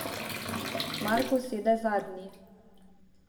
Marko sede zadnji.